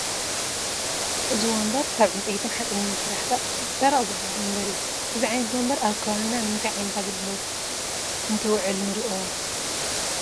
እዚ ወንበር ካብ ዕንጨይትን ሓፂንን ዝስራሕ ደረቕ ዝበሃል ወንበር እዩ፡፡ እዚ ዓይነት ወንበር ኣብ ከባቢና ንምንታይ ዓይነት ኣገልግሎት እንትውዕል ንርእዮ?